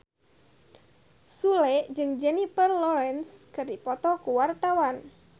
Sule jeung Jennifer Lawrence keur dipoto ku wartawan